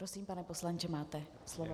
Prosím, pane poslanče, máte slovo.